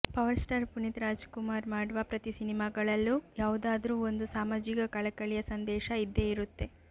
power star Puneeth Rajkumar ಮಾಡುವ ಪ್ರತಿ ಸಿನಿಮಾಗಳಲ್ಲೂ ಯಾವುದಾದ್ರು ಒಂದು ಸಾಮಾಜಿಕ ಕಳಕಳಿಯ ಸಂದೇಶ ಇದ್ದೆ ಇರುತ್ತೆ